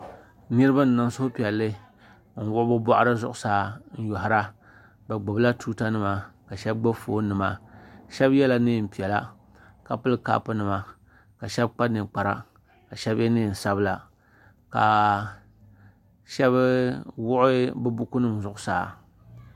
Niriba n niŋ suhi piɛli n wuɣi bi bɔɣiri zuɣusaa n yoihira bi gnubi la tuuta nima ka ahɛba gbubi foon nima ahɛba yela nɛɛn piɛla ka pili kapu nima ka ahɛba kpa ninkpara ka ahɛba ye nɛɛn sabila ka ahɛba wuɣi bi buku nima zuɣusaa.